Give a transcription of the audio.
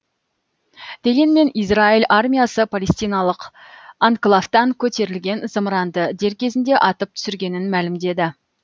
дегенмен израиль армиясы палестиналық анклавтан көтерілген зымыранды дер кезінде атып түсіргенін мәлімдеді